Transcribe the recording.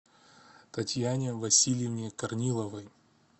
татьяне васильевне корниловой